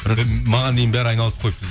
маған дейін бәрі айналысып қойыпты